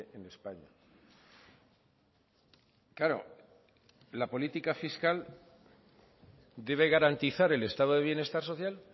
en españa claro la política fiscal debe garantizar el estado de bienestar social